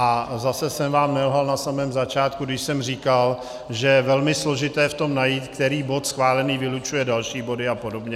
A zase jsem vám nelhal na samém začátku, když jsem říkal, že je velmi složité v tom najít, který bod schválený vylučuje další body a podobně.